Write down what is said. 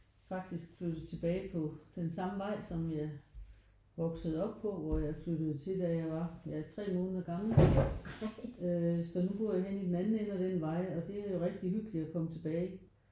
Faktisk flyttet tilbage på den samme vej som jeg voksede op hvor jeg flyttede til da jeg var ja 3 måneder gammel. Øh så nu bor jeg henne i den anden ende af den vej og det er jo rigtig hyggeligt at komme tilbage